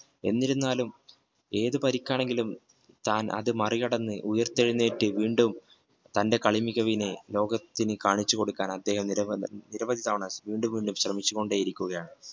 എന്തിരുന്നാലും ഏതു പരിക്ക് ആണെങ്കിലും താൻ അത് മറികടന്ന് ഉയർത്തെഴുന്നേറ്റു വീണ്ടും തന്റെ കളി മികവിനെ ലോകത്തിന് കാണിച്ചു കൊടുക്കാൻ അദ്ദേഹം നിരവധി തവണ കൊണ്ടിരിക്കുകയാണ്